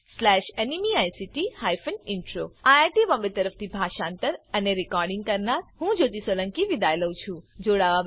IIT Bombay તરફથી હું જ્યોતી સોલંકી વિદાય લઉં છું